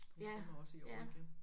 Hun kommer også i år igen